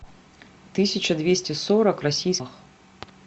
тысяча двести сорок российских